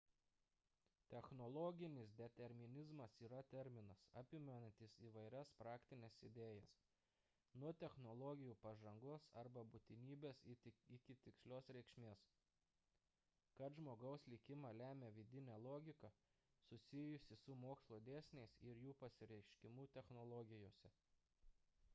technologinis determinizmas yra terminas apimantis įvairias praktines idėjas – nuo technologijų pažangos arba būtinybės iki tikslios reikšmės kad žmogaus likimą lemia vidinė logika susijusi su mokslo dėsniais ir jų pasireiškimu technologijose